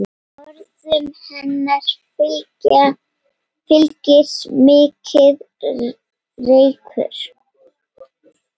Orðum hennar fylgir mikill reykur.